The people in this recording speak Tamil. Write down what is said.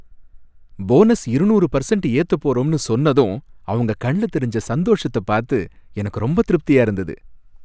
போனஸ் இருநூறு பர்சண்ட் ஏத்த போறோம்னு சொன்னதும் அவங்க கண்ணுல தெரிஞ்ச சந்தோஷத்தப் பார்த்து எனக்கு ரொம்ப திருப்தியா இருந்தது.